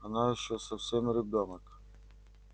она ещё совсем ребёнок